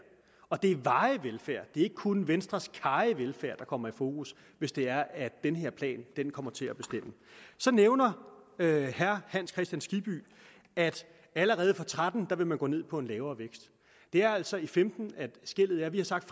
og det er varig velfærd det er ikke kun venstres karrige velfærd der kommer i fokus hvis det er at den her plan kommer til at bestemme så nævner herre hans kristian skibby at allerede og tretten vil man gå ned på en lavere vækst det er altså i femten at skellet er vi har sagt